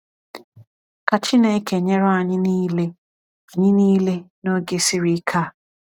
Ka Chineke nyere anyị niile anyị niile n’oge siri ike a.